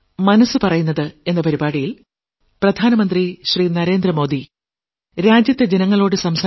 മനസ്സ് പറയുന്നത് അമ്പതാം ലക്കം